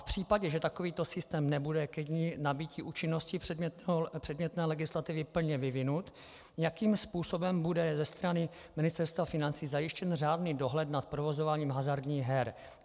V případě, že takovýto systém nebude ke dni nabytí účinnosti předmětné legislativy plně vyvinut, jakým způsobem bude ze strany Ministerstva financí zajištěn řádný dohled nad provozováním hazardních her?